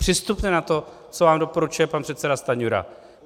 Přistupte na to, co vám doporučuje pan předseda Stanjura.